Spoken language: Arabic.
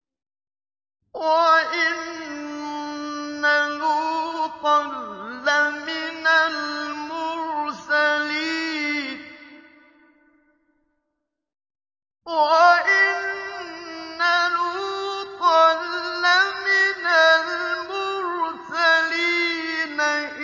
وَإِنَّ لُوطًا لَّمِنَ الْمُرْسَلِينَ